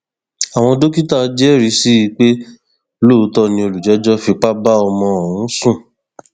àwọn dókítà jẹrìí sí i pé lóòótọ ni olùjẹjọ fipá bá ọmọ ọhún sùn